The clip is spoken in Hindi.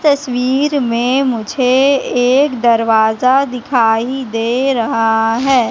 तस्वीर में मुझे एक दरवाजा दिखाई दे रहा है।